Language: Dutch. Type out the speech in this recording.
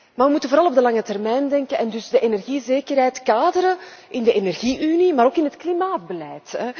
Maar we moeten vooral op de lange termijn denken en dus de energiezekerheid kaderen in de energie unie en ook in het klimaatbeleid.